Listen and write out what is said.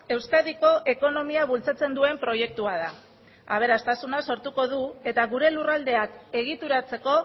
euskadiko ekonomia bultzatzen duen proiektua da aberastasuna sortuko du eta gure lurraldeak egituratzeko